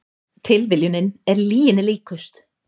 Tilviljunin er lyginni líkust